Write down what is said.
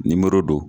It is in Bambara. Nimoro don